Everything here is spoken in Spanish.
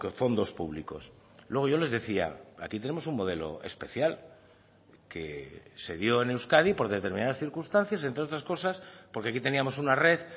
fondos públicos luego yo les decía aquí tenemos un modelo especial que se dio en euskadi por determinadas circunstancias entre otras cosas porque aquí teníamos una red